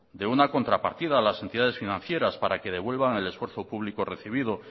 de una contrapartida a las entidades financieras para que devuelvan el esfuerzo público recibido